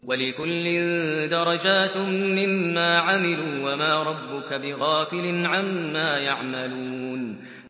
وَلِكُلٍّ دَرَجَاتٌ مِّمَّا عَمِلُوا ۚ وَمَا رَبُّكَ بِغَافِلٍ عَمَّا يَعْمَلُونَ